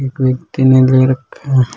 एक व्यक्ति ने ले रखा है।